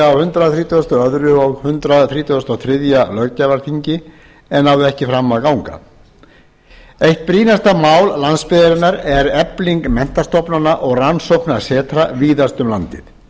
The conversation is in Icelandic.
á hundrað þrítugasta og öðrum og hundrað þrítugasta og þriðja löggjafarþingi en náði ekki fram að ganga eitt brýnasta mál landsbyggðarinnar er efling menntastofnana og rannsóknasetra sem víðast um landið